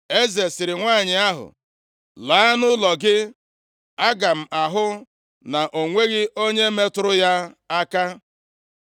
Eze sịrị nwanyị ahụ, “Laa nʼụlọ gị, aga m ahụ na o nweghị onye metụrụ ya aka.”